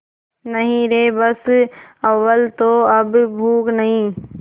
नहीं रे बस अव्वल तो अब भूख नहीं